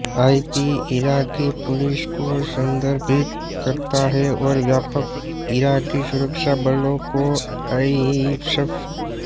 IP Iraqi police को संदर्भित करता है और व्यापक इराकी सुरक्षा बलों को आईएसएफ